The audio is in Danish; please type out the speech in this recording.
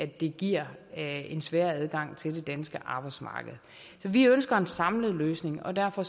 det giver en sværere adgang til det danske arbejdsmarked vi ønsker en samlet løsning og derfor